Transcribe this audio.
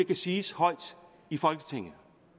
kan siges højt i folketinget